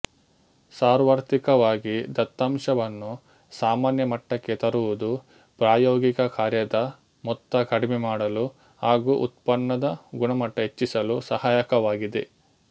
ಸಾರ್ವತ್ರಿಕವಾಗಿ ದತ್ತಾಂಶವನ್ನು ಸಾಮಾನ್ಯ ಮಟ್ಟಕ್ಕೆ ತರುವುದು ಪ್ರಾಯೋಗಿಕ ಕಾರ್ಯದ ಮೊತ್ತ ಕಡಿಮೆ ಮಾಡಲು ಹಾಗು ಉತ್ಪನ್ನದ ಗುಣಮಟ್ಟ ಹೆಚ್ಚಿಸಲು ಸಹಾಯಕವಾಗಿದೆ